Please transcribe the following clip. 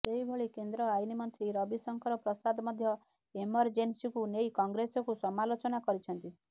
ସେହିବଳି କେନ୍ଦ୍ର ଆଇନ ମନ୍ତ୍ରୀ ରବିଶଙ୍କର ପ୍ରସାଦ ମଧ୍ୟ ଏମରଜେନ୍ସିକୁ ନେଇ କଂଗ୍ରେସକୁ ସମାଲୋଚନା କରିଛନ୍ତି